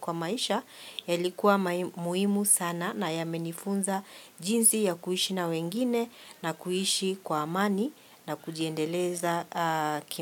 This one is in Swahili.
kwa maisha yalikuwa muhimu sana na yamenifunza jinsi ya kuishi na wengine na kuishi kwa amani na kujiendeleza kima.